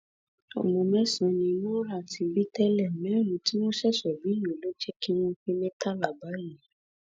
ọmọ mẹsàn-án ni nura ti bí tẹlẹ mẹrin tí wọn ṣẹṣẹ bí yìí ló jẹ kí wọn pé mẹtàlá báyìí